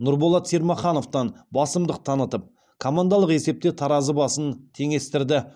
нұрболат сермахановтан басымдық танытып командалық есепте таразы басын теңестірді